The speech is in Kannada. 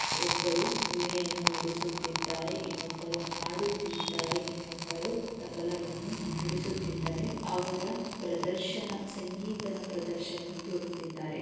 ಒಬ್ಬರು ವೀಣೆಯನ್ನು ನುಡಿಸುತ್ತಿದ್ದಾರೆ ಇನ್ನೊಬ್ಬರು ಹಾಡುತ್ತಿದ್ದಾರೆ ಇನ್ನೊಬ್ಬರು ತಬಲವನ್ನು ನುಡಿಸುತ್ತಿದ್ದಾರೆಅವರ ಪ್ರದರ್ಶನ ಸಂಗೀತ ಪ್ರದರ್ಶನ ತೋರುತ್ತಿದ್ದಾರೆ .